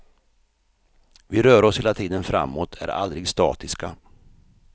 Vi rör oss hela tiden framåt, är aldrig statiska.